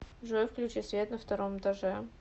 джой включи свет на втором этаже